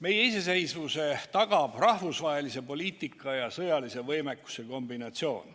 Meie iseseisvuse tagab rahvusvahelise poliitika ja sõjalise võimekuse kombinatsioon.